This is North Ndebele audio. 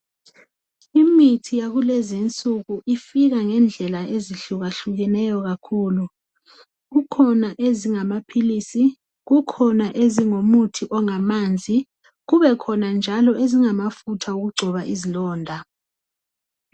Imithi yakulezi insuku ifika ngendlela ezihlukahlukeneyo kakhulu. Kukhona ezingamaphilisi. Kukhona ezingumuthi ongamanzi. Kukhona njalo ezingumuthi wokugcoba izilonda.